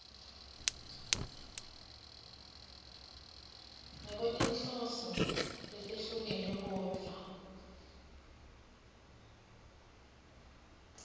ngekwetinhloso letehlukene kodvwa